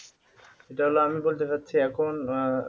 এটা হল আমি বলতে চাচ্ছি এখন আহ